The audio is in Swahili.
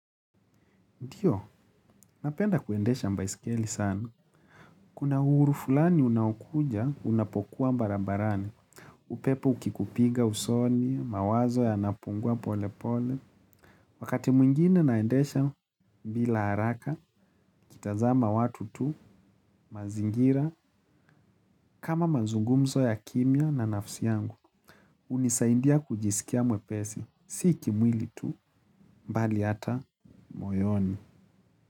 Ndiyo, napenda kuendesha baiskeli sana. Kuna uhuru fulani unaokuja unapokuwa barabarani. Upepo ukikupiga usoni, mawazo yanapungua polepole. Wakati mwingine naendesha bila haraka, nikitazama watu tu, mazingira, kama mazungumzo ya kimya na nafsi yangu. Hunisaidia kujisikia mwepesi, si kimwili tu, bali hata moyoni.